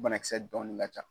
U banakisɛ dɔɔnin ka ca.